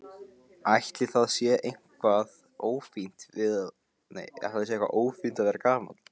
Ætli það sé eitthvað ófínt að vera gamall?